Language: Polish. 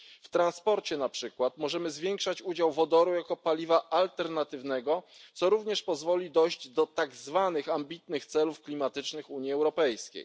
W transporcie na przykład możemy zwiększać udział wodoru jako paliwa alternatywnego, co również pozwoli dojść do tak zwanych ambitnych celów klimatycznych Unii Europejskiej.